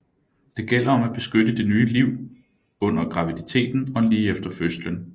Det gælder om at beskytte det nye liv under graviditeten og lige efter fødslen